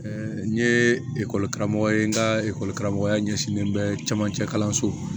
n ye karamɔgɔ ye n ka karamɔgɔya ɲɛsinnen bɛ camancɛ kalanso